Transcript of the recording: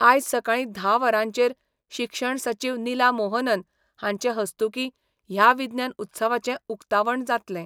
आयज सकाळीं धा वरांचेर शिक्षण सचीव नीला मोहनन हांचे हस्तुकीं ह्या विज्ञान उत्सवाचें उकतावण जातलें.